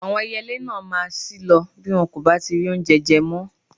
Àwọn ẹyẹlé náà máa ṣí lọ bí wọn kò bá ti rí oúnje je mọ́.